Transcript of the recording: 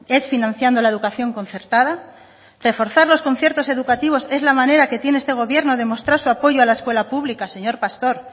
es financiando la educación concertada reforzar los conciertos educativos es la manera que tiene este gobierno de mostrar su apoyo a la escuela pública señor pastor